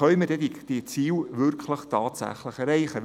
Denn das ist eine Wolke, die man nicht so genau sieht.